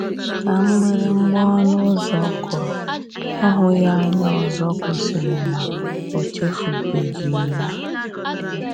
Ka mgbịrịgba ọnụ ụzọ kụrụ, ịhụ ya anya ọzọ gosiri na o echefubeghi ya.